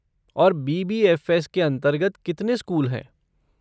और बी.बी.एफ़.एस. के अंतर्गत कितने स्कूल हैं?